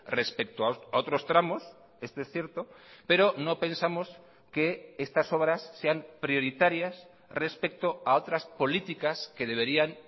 respecto a otros tramos esto es cierto pero no pensamos que estas obras sean prioritarias respecto a otras políticas que deberían